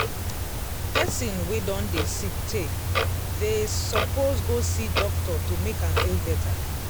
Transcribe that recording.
person wey don dey sick tey they suppose go see doctor to make am feel better